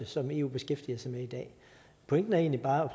som eu beskæftiger sig med i dag pointen er egentlig bare